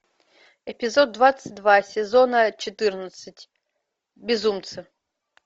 эпизод двадцать два сезона четырнадцать безумцы